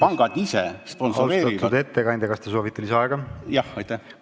Austatud ettekandja, kas te soovite lisaaega?